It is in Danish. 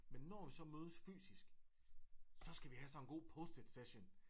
Men når vi så mødes fysisk så skal vi have sådan en god post-it session